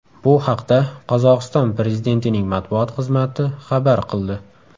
Bu haqda Qozog‘iston prezidentining matbuot xizmati xabar qildi .